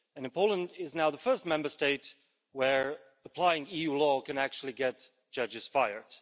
Poland is now the first Member State where applying EU law can actually get judges fired.